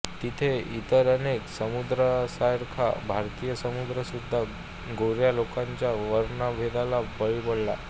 तिथे इतर अनेक समुदायासारखाच भारतीय समुदायसुद्धा गोऱ्या लोकांच्या वर्णभेदाला बळी पडला